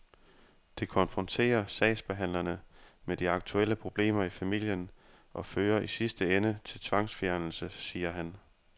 Det konfronterer sagsbehandlerne med de aktuelle problemer i familien og fører i sidste ende til tvangsfjernelse, siger han.